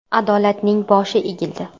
Adolatning boshi egildi.